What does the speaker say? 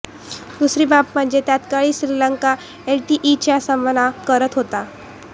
दुसरी बाब म्हणजे त्याकाळी श्रीलंका एलटीटीईचा सामना करत होता